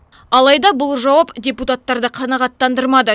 алайда бұл жауап депутаттарды қанағаттандырмады